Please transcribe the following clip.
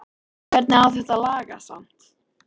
Hvernig á þetta að lagast samt??